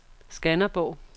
Skanderborg